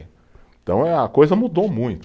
Então eh, a coisa mudou muito.